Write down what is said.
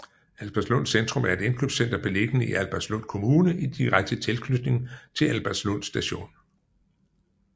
Albertslund Centrum er et indkøbscenter beliggende i Albertslund Kommune i direkte tilknytning til Albertslund Station